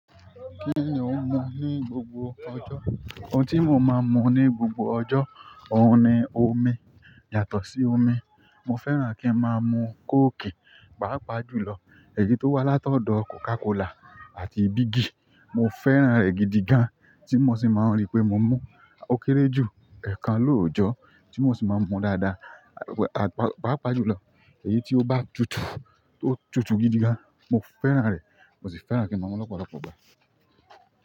N ni òhun mun ní gbogbo ọjọ́. Ohun tí mo máa ń mu ní gbogbo ọjọ́, òun ni omi. Yàtọ̀ sí omi, mo fẹ́ràn kí n máa mu kóòkì, pàápàá jùlọ èyí tó wá látọ̀dọ̀ Coca-Cola àti bígì. Mo fẹ́ràn rẹ̀ gidi gan, tí mo sì máa ń rí pé mo mú. Ó kéré jù ẹ̀ẹ̀kan lóòjọ́ tí mo ṣì máa ń mun dáadáa, pàápàá jùlọ èyí tí ó bá tutù tí ó tutù gidi gan, mo fẹ́ràn rẹ̀. Mo sì fẹ́ràn kí n ma mun lọ́pọ̀lọpọ̀ ìgbà.